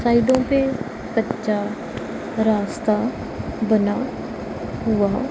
कलड़ो पे कच्चा रास्ता बना हुआ--